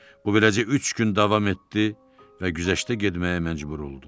Bu beləcə üç gün davam etdi və güzəştə getməyə məcbur oldu.